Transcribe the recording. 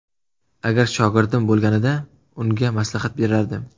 Agar shogirdim bo‘lganida unga maslahat berardim.